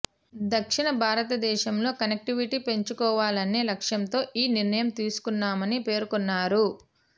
దక్షిణ భారతదేశంలో కనెక్టివిటీ పెంచుకోవాలనే లక్ష్యంతో ఈ నిర్ణయం తీసుకున్నామని పేర్కొన్నారు